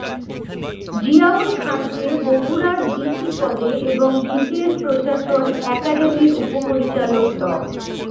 জিয়াউল খানকে বগুড়ার ডিসি পদে এবং বিসিএস প্রশাসন একাডেমির উপপরিচালক ড